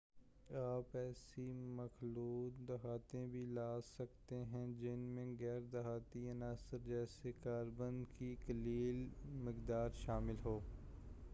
آپ ایسی مخلوط دھاتیں بھی لے سکتے ہیں جن میں غیر دھاتی عناصر جیسے کاربن کی قلیل مقدار شامل ہو